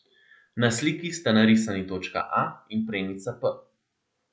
Na sliki sta narisani točka A in premica p.